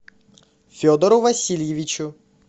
федору васильевичу